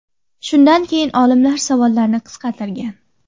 Shundan keyin olimlar savollarni qisqartirgan.